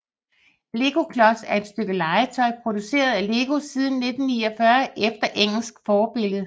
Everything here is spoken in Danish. Legoklods er et stykke legetøj produceret af LEGO siden 1949 efter engelsk forbillede